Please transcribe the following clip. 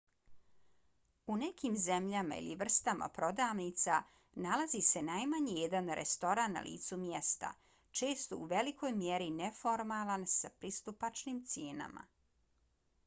u nekim zemljama ili vrstama prodavnica nalazi se najmanje jedan restoran na licu mjesta često u velikoj mjeri neformalan s pristupačnim cijenama